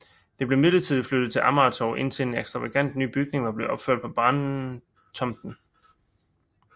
Det blev midlertidigt flyttet til Amagertorv indtil en ekstravagant ny bygning var blevet opført på brandtomten